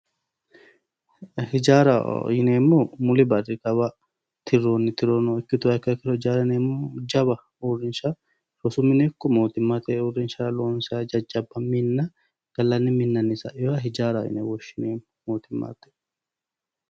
hijaaraho yineemmohu muli barri kawa tirroonni tirono ikkituro jawa uurrinsha rosu mine ikko mootummate uurrinsha loonsanniha jajjabba minna gallaniwiinni sainota hijaaraho yine woshshineemmo mootummannite.